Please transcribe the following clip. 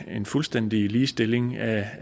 en fuldstændig ligestilling af